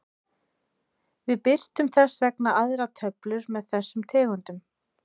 Við birtum þess vegna aðra töflu með þessum tegundum.